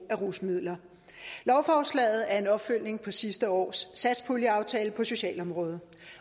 af rusmidler lovforslaget er en opfølgning på sidste års satspuljeaftale på socialområdet